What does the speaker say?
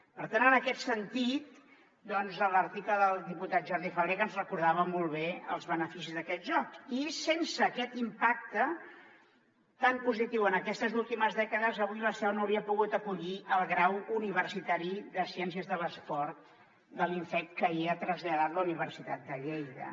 per tant en aquest sentit doncs l’article del diputat jordi fàbrega ens recordava molt bé els beneficis d’aquests jocs i sense aquest impacte tan positiu en aquestes últimes dècades avui la seu no hauria pogut acollir el grau universitari de ciències de l’esport de l’inefc que hi ha traslladat la universitat de lleida